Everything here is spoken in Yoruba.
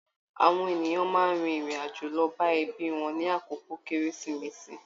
Àwọn ènìyàn máa n rin irin-ajo lọ bá ẹbí wọn ni àkókò kérésìmesì